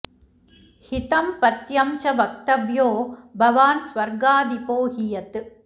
हितं पथ्यं च वक्तव्यो भवान् स्वर्गाधिपो हि यत्